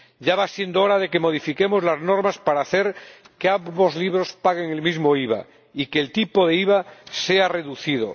Ya va siendo hora de que modifiquemos las normas para hacer que ambos libros paguen el mismo IVA y que el tipo de IVA sea reducido.